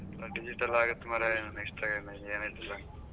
ಎಲ್ಲಾ digital ಆಗುತ್ತೆ ಮಾರಾಯ next ಏನಾಯ್ತದೊ.